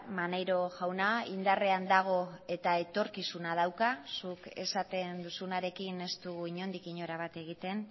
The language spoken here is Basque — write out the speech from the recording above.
maneiro jauna indarrean dago eta etorkizuna dauka zuk esaten duzunarekin ez dugu inondik inora bat egiten